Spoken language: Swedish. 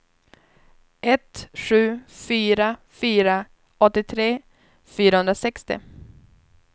ett sju fyra fyra åttiotre fyrahundrasextio